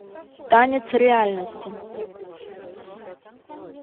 танец реальности